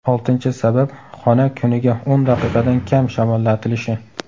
Oltinchi sabab xona kuniga o‘n daqiqadan kam shamollatilishi.